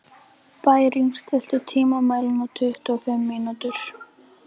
Bæring, stilltu tímamælinn á tuttugu og fimm mínútur.